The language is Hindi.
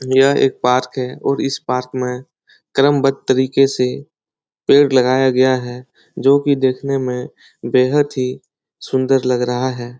यह एक पार्क है और इस पार्क में क्रमवध तरीके से पेड़ लगाया गया है जो की देखने में बेहद ही सुन्दर लग रहा है।